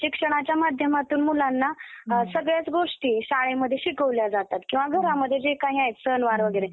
आद्यसुधारक मराठी वृत्तपत्रिका~ पत्राचे जनक, आद्य इतिहास संशोधक, सुधारणावाद्यांचे प्रवर्तक, शिक्षण तज्ञ, श्रेष्ठ पत्रकार, एक व्यवहारवादी,